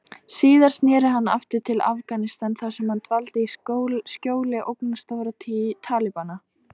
Síðar sneri hann aftur til Afganistan þar sem hann dvaldi í skjóli ógnarstjórnar Talibana.